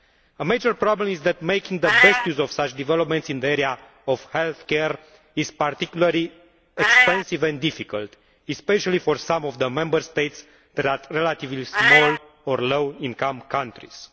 A major problem is that making the best use of such developments in the area of healthcare is particularly expensive and difficult, especially for some of the Member States that are relatively small or low income countries.